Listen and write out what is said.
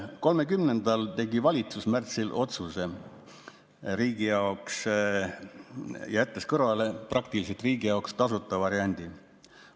30. märtsil tegi valitsus otsuse riigi jaoks, jättes kõrvale praktiliselt riigi jaoks tasuta variandi.